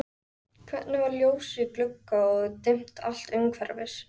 Hvergi var ljós í glugga og dimmt allt umhverfis.